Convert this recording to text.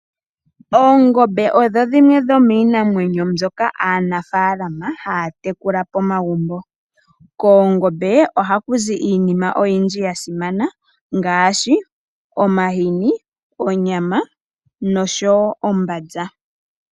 Oongombe odho dhimwe dhomiinamwenyo mbyoka aanafaalama haya tekula pomagumbo. Koongombe ohaku zi iinima oyindji ya simana ngaashi, omahini, onyama noshowo ombanza.